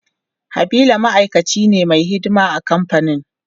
Habila ma'aikaci ne mai himma a kamfanin.